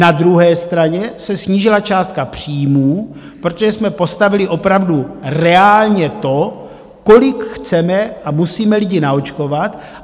Na druhé straně se snížila částka příjmů, protože jsme postavili opravdu reálně to, kolik chceme a musíme lidí naočkovat.